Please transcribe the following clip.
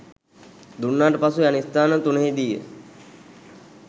දුන්නාට පසු යන ස්ථාන තුනෙහිදීය.